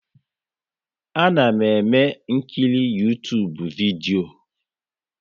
A na m ekiri Uytubu vidio